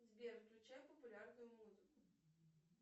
сбер включай популярную музыку